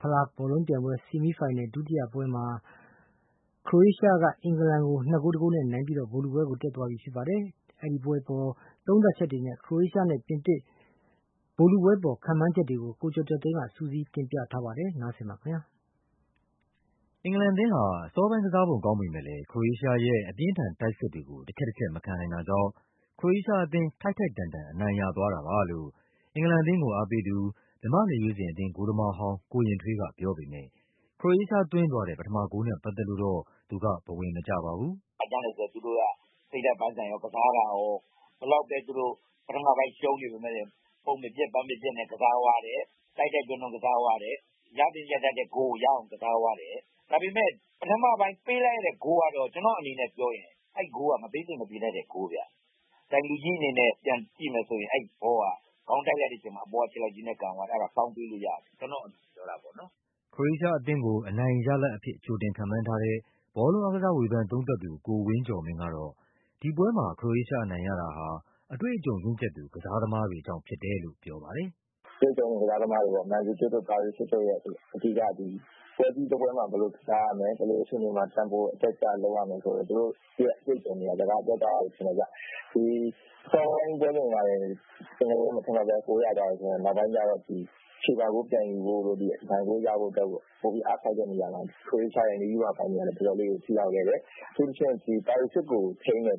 ဖလားဘောလုံးပြိုင်ပွဲ ဆီမီးဖိုင်နယ်လ် ဒုတိယပွဲမှာ ခရိုအေးရှားက အင်္ဂလန်ကို ၂ ဂိုး ၁ ဂိုးနဲ့ အနိုင်ရပြီး ဗိုလ်လုပွဲတက်သွားပါပြီ။ ဒီပွဲအပေါ် သုံးသပ်ချက်တွေ နဲ့ ခရိုအေးရှားနဲ့ ပြင်သစ် ဗိုလ်လုပွဲအပေါ် ခန့်မှန်းချက်တွေကို ကိုကျော်ကျော်သိန်းက စုစည်းတင်ပြထားပါတယ်။ အင်္ဂလန်အသင်းဟာ အစောပိုင်းကစားပုံ ကောင်းပေမဲ့လည်း ခရိုအေးရှားရဲ့ အပြင်း အထန် တိုက်စစ်တွေကို တချက်တချက် မခံနိုင်တာကြောင့် ခရိုအေးရှားအသင်း ထိုက်ထိုက်တန်တန် အနိုင်ရသွားတာပါလို့ အင်္ဂလန်အသင်းကို အားပေးသူ မြန်မာ့ လက်ရွေးစင်အသင်း ဂိုးသမားဟောင်း ကိုရင်ထွေးကပြောပေမဲ့ ခရိုအေးရှားသွင်းသွားတဲ့ ပထမဂိုးနဲ့ပတ်သက်လို့တော့ သူကဘဝင်မကျပါဘူး။ သူတို့က စိတ်ဓာတ်ပိုင်းဆိုင်ရာရော၊ ကစားတာရော၊ ဘယ်လောက်ပဲ သူတို့ ပထမပိုင်း ရှုံးနေပေမဲ့လည်း ပုံမပျက် ပန်းမပျက်နဲ့ ကစားသွား တယ်။ တိုက်တိုက်တွန်းတွန်း ကစားသွားတယ်။ ရသင့်ရထိုက်တဲ့ဂိုးကို ရအောင်ကစား သွားတယ်။ ဒါပေမဲ့ ပထမပိုင်း ပေးလိုက်ရတဲ့ဂိုးကတော့ ကျနော့်အနေနဲ့ပြောရင် အဲဒီဂိုးက မပေးသင့်မပေးထိုက်တဲ့ ဂိုးဗျ။ ဒိုင်လူကြီး အနေနဲ့ ပြန်ကြည့်မယ်ဆိုရင် အဲဒီဘောက ခေါင်းတိုက်လိုက်တဲ့အချိန်မှာ အပေါ်က ခြေထောက်ကြီးနဲ့ ကန်သွားတာ၊ အဲဒါ foul ပေးလို့ရတယ်၊ ကျနော့်အမြင် ခရိုအေးရှားအသင်းကို အနိုင်ရလဒ်အဖြစ် ကြိုတင်ခန့်မှန်းထားတဲ့ ဘောလုံးအားကစား ဝေဖန်သုံးသပ်သူ ကိုဝင်းကျော်မင်းကတော့ ဒီပွဲမှာ ခရိုအေးရှားအနိုင်ရတာဟာ အတွေ့အကြုံရင့်ကျက်သူ ကစားသမားတွေကြောင့်ဖြစ်တယ်လို့ ပြောပါတယ်။ ကစားသမားတွေပေါ့၊ Mandzukic တို့၊ Brozovic တို့ရဲ့ အဓိက ဒီ ပွဲကြီးတပွဲမှာ ဘယ်လိုကစားရမယ်၊ ဘယ်လို အခြေအနေမှာ Tempo အတက်အကျ လုပ်ရမယ်ဆိုတဲ့ သူတို့ရဲ့အတွေ့အကြုံတွေက စကားပြောသွားတာလို့ ထင်တယ်ဗျ။ အစောဆုံးမှာတင် အင်္ဂလန်အသင်း မထင်မှတ်ဘဲ ဂိုးရသွားပေမဲ့ နောက်ပိုင်းကျတော့ ချေပဂိုးပြန်ယူဖို့တို့၊ အနိုင်ဂိုးရဖို့အတွက်တို့ ပိုပြီးအားစိုက်တဲ့နေရာမှာ ခရိုအေးရှားရဲ့ နည်းဗျူဟာပိုင်းတွေကလည်း တော်တော်လေးကို ထိရောက်တယ်။ အထူးသဖြင့် Brozovic ကိုထိန်းတဲ့ အ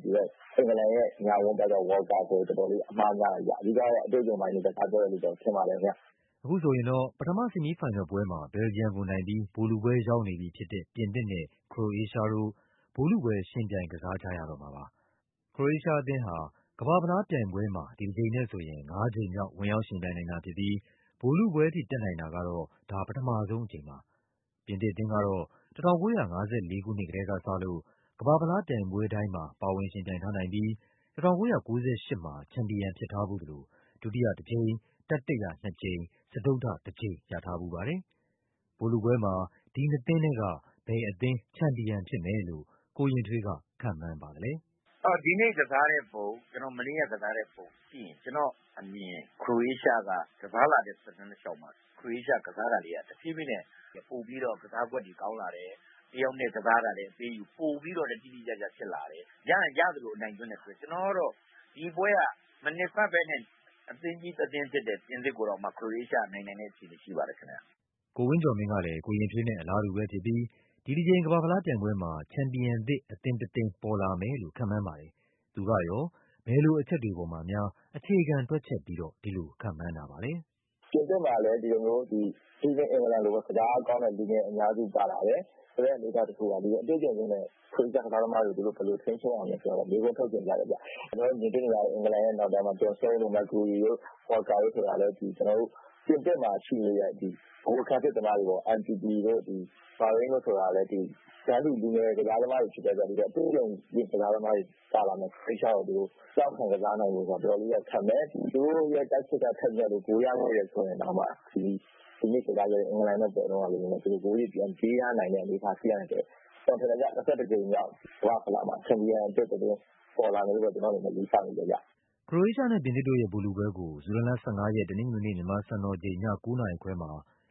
င်္ဂလန်ရဲ့ ညာဝန်းဘက်က Walker ဆို တော်တော်လေး အမှားများတယ်ဗျ။ အဓိကကတော့ အတွေ့အကြုံပိုင်းတွေ စကားပြောတယ်လို့ အခုဆိုရင်တော့ ပထမ ဆီမီးဖိုင်နယ်လ်ပွဲမှာ ဘယ်လ်ဂျီယမ်ကိုနိုင်ပြီး ဗိုလ်လုပွဲရောက်နေ ပြီဖြစ်တဲ့ ပြင်သစ်နဲ့ ခရိုအေးရှားတို့ ဗိုလ်လုပွဲ ယှဉ်ပြိုင်ကစားကြရတော့မှာပါ။ ခရိုအေးရှားအသင်းဟာ ကမ္ဘာ့ဖလားပြိုင်ပွဲမှာ ဒီတကြိမ်နဲ့ဆိုရင် ငါးကြိမ်မြောက် ဝင်ရောက်ယှဉ်ပြိုင်နိုင်တာဖြစ်ပြီး ဗိုလ်လုပွဲထိ တက်နိုင်တာကတော့ ဒါဟာ ပထမဆုံး အကြိမ်ပါပဲ။ ပြင်သစ်အသင်းကတော့ ၁၉၅၄ ခုနှစ်ကတည်းကစလို့ ကမ္ဘာ့ဖလားပြိုင်ပွဲတိုင်းမှာ ပါဝင် ယှဉ်ပြိုင်ထားနိုင်ပြီး ၁၉၉၈ မှာ ချန်ပီယံ ဖြစ်ထားဖူးသလို ဒုတိယတကြိမ်၊ တတိယနှစ်ကြိမ်၊ စတုတ္ထတကြိမ် ရထားဖူးပါတယ်။ ဗိုလ်လုပွဲမှာ ဒီနှစ်သင်းထဲက ဘယ်အသင်း ချန်ပီယံဖြစ်မယ်လို့ ကိုရင်ထွေးက ခန့်မှန်းပါသလဲ… မနေ့ကကစားတဲ့ပုံ ကြည့်ရင် ကျနော့််အမြင် ခရိုအေးရှားက ကစား လာတဲ့ သက်တမ်းတလျှောက်မှာ ခရိုအေးရှား ကစားတာလေးက တဖြည်းဖြည်းနဲ့ ပိုပြီးတော့ ကစားကွက်တွေကောင်းလာတယ်၊ တယောက်နဲ့တယောက် အပေးအယူ ပိုပြီးတော့လည်း တိတိကျကျဖြစ်လာတယ်၊ ရရင်ရသလို အနိုင်သွင်းတယ်ဆိုတော့ ကျနော်ကတော့ ဒီပွဲက မထင်မှတ်ဘဲနဲ့ အသင်းကြီးတသင်းဖြစ်တဲ့ ပြင်သစ်ကိုတောင်မှ ခရိုအေးရှားက နိုင်နိုင်တဲ့အခြေအနေ ကိုဝင်းကျော်မင်းကလည်း ကိုရင်ထွေးနဲ့ အလားတူပဲဖြစ်ပြီး ဒီတကြိမ် ကမ္ဘာ့ဖလားပြိုင်ပွဲမှာ ချန်ပီယံသစ် အသင်းတသင်း ပေါ်လာ မယ်လို့ ခန့်မှန်းပါတယ်။ သူကရော ဘယ်လို အချက်တွေပေါ်မှာများ အခြေခံတွက်ချက်ပြီး ဒီလိုခန့်မှန်းတာပါလဲ… ဒီလိုမျိုး အထူးသဖြင့် အင်္ဂလန်လိုပေါ့၊ ကစားအားကောင်းတဲ့ လူငယ် အများစု ပါလာတယ်ဆိုတဲ့ အနေအထား တခုမှာ အတွေ့အကြုံရင့်တဲ့ ခရိုအေးရှား ကစား သမားတွေကို သူတို့ ဘယ်လိုထိန်းချုပ်မလဲဆိုတာတော့ မေးခွန်းထုတ်ချင်ကြတယ်ဗျ။ ကျနော်တို့မြင်တွေ့နေရတဲ့ အင်္ဂလန်ရဲ့နောက်တန်းမှာ John Stones တို့၊ Maguire တို့၊ Walker တို့ဆိုတာလည်း ပြင်သစ်မှာ ရှိနေတဲ့ ဗဟိုခံစစ်သမားတွေပေါ့ Mbapp တို့၊ Varane တို့ဆိုတာလည်း တန်းတူ လူငယ်ကစားသမားတွေဖြစ်တဲ့အတွက် အတွေ့အကြုံ ရင့် ကစားသမားတွေပါလာမယ့် ခရိုအေးရှားကို သူတို့ တောင့်ခံကစားနိုင်ဖို့တော့ တော်တော်လေးတော့ခက်မယ်။ သူတို့ရဲ့ တိုက်စစ်ကထက်မြက်လို့ ဂိုးရတယ် ဆိုရင်တောင်မှ ဒီနေ့ကစားတဲ့ အင်္ဂလန်နဲ့ပွဲတုန်းကလိုမျိုးပဲ သူတို့ဂိုးတွေပြန်ပေးရနိုင်တဲ့ အနေအထားရှိနိုင်တဲ့အတွက် ကျနော်ထင်တယ်ဗျ၊ ၂၁ ကြိမ်မြောက် ကမ္ဘာ့ဖလားမှာ ချန်ပီယံအသစ်တသင်း ပေါ်လာမယ်လို့ ကျနော့်အနေနဲ့ ခရိုအေးရှားနဲ့ ပြင်သစ်တို့ရဲ့ ဗိုလ်လုပွဲကို ဇူလိုင်လ ၁၅ ရက်၊ တနင်္ဂနွေနေ့ မြန်မာ စံတော်ချိန် ည ၉ နာရီခွဲမှာ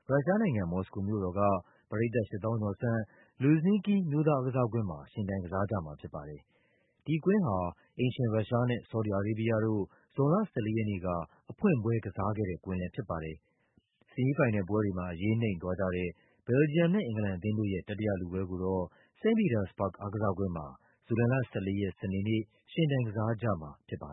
ရုရှားနိုင်ငံ၊ မော်စကို မြို့တော်က ပရိသတ် ၈၀,၀၀၀ ကျော် ဆန့် Luzhniki အမျိုးသားအားကစားကွင်းမှာ ယှဉ်ပြိုင်ကစားကြမှာဖြစ်ပါတယ်။ ဒီကွင်း ဟာ အိမ်ရှင်ရုရှားနဲ့ ဆော်ဒီ အာရေးဘီးယားတို့ ဇွန်လ ၁၄ ရက်နေ့က အဖွင့်ပွဲ ကစားခဲ့တဲ့ ကွင်းလည်းဖြစ်ပါတယ်။ ဆီမီးဖိုင်နယ်လ်ပွဲတွေမှာ အရေးနိမ့်သွားကြတဲ့ ဘယ်လ်ဂျီယမ်နဲ့ အင်္ဂလန်အသင်းတို့ရဲ့ တတိယလုပွဲကိုတော့ စိန့်ပီတာစ်ဘာ့ဂ် အားကစားကွင်းမှာ ဇူလိုင်လ ၁၄ ရက် စနေနေ့ ယှဉ်ပြိုင်ကစားကြမှာဖြစ်ပါတယ်